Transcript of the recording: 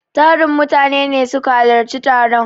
Tarin mutane ne suka halarci taron.